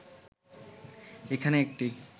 এখানে একটি